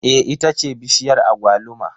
Eh ita ce bishiyar agwaluma